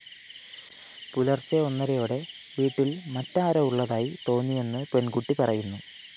പുലര്‍ച്ചെ ഒന്നരയോടെ വീട്ടില്‍ മറ്റാരോ ഉളളതായി തോന്നിയെന്ന് പെണ്‍കുട്ടി പറയുന്നു